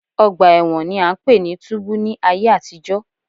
Ọgbà ẹ̀wọ̀n ni à ń pè ní túbú ní ayé àtijọ́